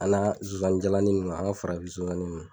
An ka nsonsannin jalannin ninnu an ka farafin sonsan